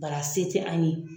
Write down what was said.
Bar'a se tɛ an ye.